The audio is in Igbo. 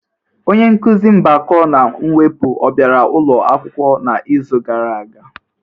Onye nkuzi mgbakọ na mwepụ ọ bịara ụlọ akwụkwọ n'izu gara aga?